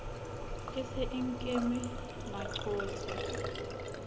e se e nkeme maqothe